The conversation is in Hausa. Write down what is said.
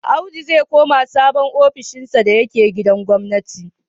Audu zai koma sabon ofishinsa da yake gidan gwamnati.